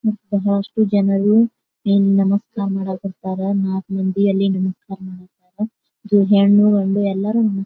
ಇಲ್ ಬಹಳಷ್ಟು ಜನರು ಇಲ್ಲ ನಮಸ್ಕಾರ ಮಾಡಾಕತ್ತಾರ. ನಾಕ್ ಮಂದಿ ಅಲ್ಲಿ ನಿಂತ್ಕೊಂಡಿದಾರ. ಇಲ್ಲಿ ಹೆಣ್ಣು ಗಂಡು ಎಲ್ಲಾರು--